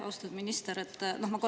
Austatud minister!